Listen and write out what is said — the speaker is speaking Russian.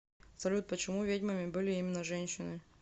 салют почему ведьмами были именно женщины